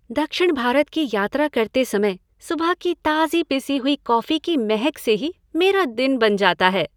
दक्षिण भारत की यात्रा करते समय सुबह की ताज़ी पिसी हुई कॉफी की महक से ही मेरा दिन बन जाता है।